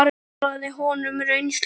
Ég miðlaði honum reynslu minni.